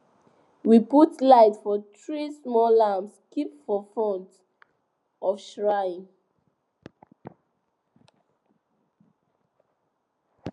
we put light for three small lamps keep for front of shrine